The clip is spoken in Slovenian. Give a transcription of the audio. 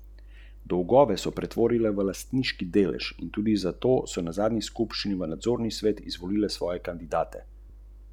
Več kot tisoč jih je samo v Berlinu.